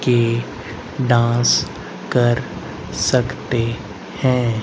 की डांस कर सकतें हैं।